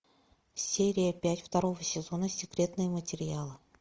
серия пять второго сезона секретные материалы